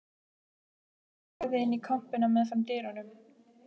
Ljósrönd lagði inn í kompuna meðfram dyrunum.